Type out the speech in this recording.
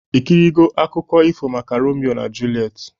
Ikirigo akụkọ ifo maka Romio na Julet?